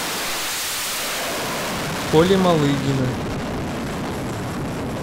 коли малыгина